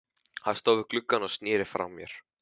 Hann stóð við gluggann og sneri frá mér.